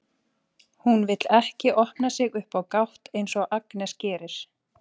Hún vill ekki opna sig upp á gátt eins og Agnes gerir.